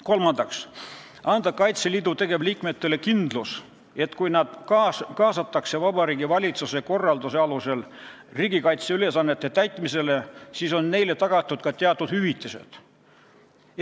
Kolmandaks tuleb anda Kaitseliidu tegevliikmetele kindlus, et kui nad kaasatakse Vabariigi Valitsuse korralduse alusel riigikaitseülesannete täitmisesse, siis on neile tagatud ka teatud hüvitised.